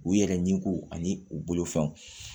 U yɛrɛ ɲiko ani u bolofɛnw